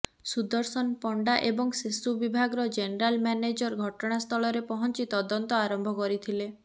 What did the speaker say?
ସୁଦର୍ଶନ ପଣ୍ଡା ଏବଂ ସେସୁ ବିଭାଗର ଜେନେରାଲ ମ୍ୟାନେଜର ଘଟଣା ସ୍ଥଳରେ ପହଞ୍ଚି ତଦନ୍ତ ଆରମ୍ଭ କରିଥିଲେ